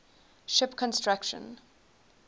ship construction